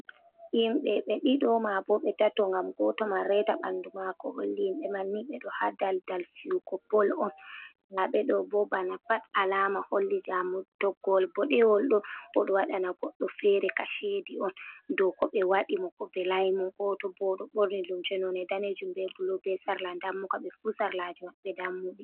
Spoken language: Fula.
Himɓe be ɗido ma boo ɓe tato gam goto man reta ɓandu mako holli himɓe manni ɓe do ha dal dal fijugo bol on, nda meɓeɗe bo bana pat alama holli jamo toggowol boɗeejuum ɗo oɗo waɗana goɗdof fere kashedii on, dou ko ɓe waɗi mo ko be velai mo, goto bo ɗo ɓorni limse nonde danejuum be bulu be sarla dammuka ɓe fuu sarlaji maɓɓe dammuɗi.